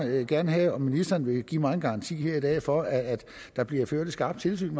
gerne have at ministeren vil give mig en garanti her i dag for at der bliver ført et skarpt tilsyn